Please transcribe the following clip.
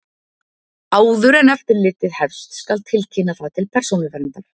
Áður en eftirlitið hefst skal tilkynna það til Persónuverndar.